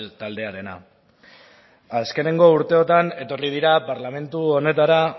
taldearena azkeneko urteotan etorri dira parlamentu honetara